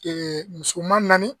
musoman naani.